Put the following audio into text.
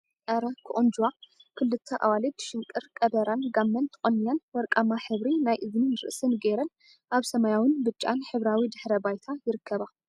ኣረ! ክቁንጅዋ ክልተ ኣዋልድ ሽንቅር ቀበራን ጋመን ተቆኒነን ወርቃማ ሕብሪ ናይ እዝኒን ርእስን ገይረን ኣብ ሰማያዊን ብጫን ሕብራዊ ድሕረ ባይታ ይርከባ።